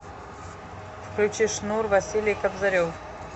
включи шнур василий кобзарев